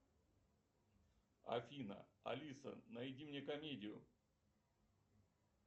афина алиса найди мне комедию